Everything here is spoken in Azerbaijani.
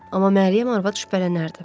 Amma Məryəm arvad şübhələnərdi.